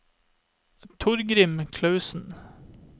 Torgrim Clausen